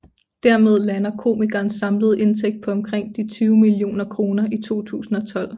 Dermed lander komikerens samlede indtægt på omkring de 20 millioner kroner i 2012